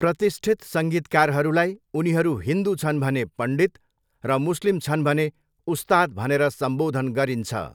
प्रतिष्ठित सङ्गीतकारहरूलाई उनीहरू हिन्दु छन् भने पण्डित र मुस्लिम छन् भने उस्ताद भनेर सम्बोधन गरिन्छ।